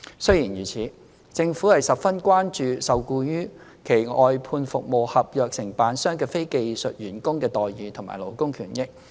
雖然如此，政府十分關注受僱於其外判服務合約承辦商的非技術員工的待遇和勞工權益。